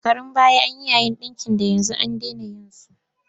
Shekarun baya an yi yayin ɗinki da yanzu an dena yin su.